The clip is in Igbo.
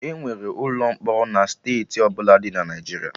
Enwere ụlọ mkpọrọ na steeti ọbụla dị na Naijiria